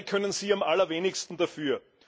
Dabei können sie am allerwenigsten dafür.